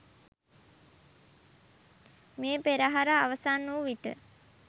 මේ පෙරහර අවසන් වූ විට